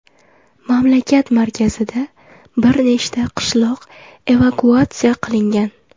Mamlakat markazida bir nechta qishloq evakuatsiya qilingan.